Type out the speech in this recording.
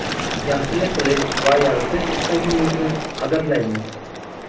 yaxshilik qilish va yaratish istagingizni qadrlaymiz!.